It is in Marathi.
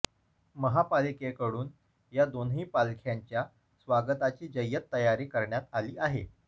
महापालिकेडून या दोन्ही पालख्यांच्या स्वागताची जय्यत तयारी करण्यात आली आहे